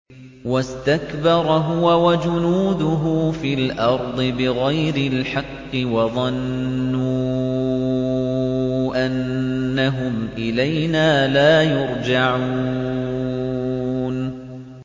وَاسْتَكْبَرَ هُوَ وَجُنُودُهُ فِي الْأَرْضِ بِغَيْرِ الْحَقِّ وَظَنُّوا أَنَّهُمْ إِلَيْنَا لَا يُرْجَعُونَ